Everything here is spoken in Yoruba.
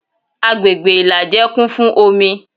Agbègbè ìlàjẹ kún fún omi